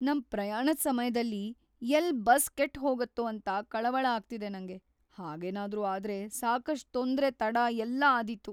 ನಮ್ ಪ್ರಯಾಣದ್ ಸಮಯ್ದಲ್ಲಿ ಎಲ್ಲ್ ಬಸ್ ಕೆಟ್‌ ಹೋಗತ್ತೋ ಅಂತ ಕಳವಳ ಆಗ್ತಿದೆ ನಂಗೆ, ಹಾಗೇನಾದ್ರು ಆದ್ರೆ ಸಾಕಷ್ಟ್ ತೊಂದ್ರೆ, ತಡ ಎಲ್ಲ ಆದೀತು.